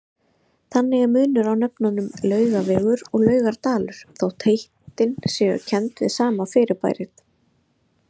Þannig er munur á nöfnunum Laugavegur og Laugardalur þótt heitin séu kennd við sama fyrirbærið.